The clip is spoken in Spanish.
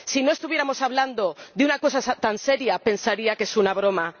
Si no estuviéramos hablando de una cosa tan seria, pensaría que es una broma.